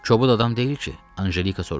Kobud adam deyil ki?